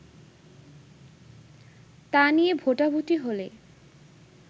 তা নিয়ে ভোটাভুটি হলে